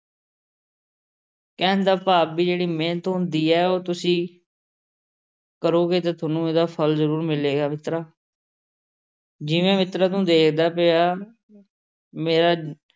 ਕਹਿਣ ਦਾ ਭਾਵ ਬਈ ਜਿਹੜੀ ਮਿਹਨਤ ਹੁੰਦੀ ਹੈ, ਉਹ ਤੁਸੀਂ ਕਰੋਗੇ ਤਾਂ ਤੁਹਾਨੂੰ ਇਹਦਾ ਫਲ ਜ਼ਰੂ੍ਰ ਮਿਲੇਗਾ ਮਿੱਤਰਾ ਜਿਵੇਂ ਮਿੱਤਰੋਂ ਤੁਹਾਨੂੰ ਦੇਖਦਾ ਪਿਆ ਮੇਰਾ